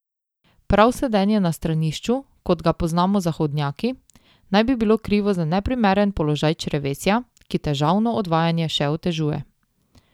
Prav sedenje na stranišču, kot ga poznamo zahodnjaki, naj bi bilo krivo za neprimeren položaj črevesja, ki težavno odvajanje še otežuje.